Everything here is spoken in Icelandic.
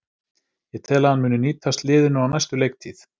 Ég tel að hann muni nýtast liðinu á næstu leiktíð.